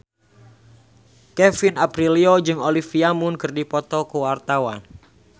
Kevin Aprilio jeung Olivia Munn keur dipoto ku wartawan